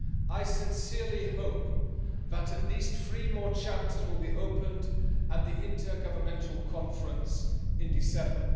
I sincerely hope that at least three more chapters will be opened at the intergovernmental conference in December.